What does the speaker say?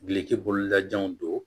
Gili ti bolola janw don don